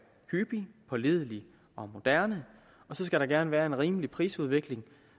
hyppig pålidelig og moderne og så skal der gerne være en rimelig prisudvikling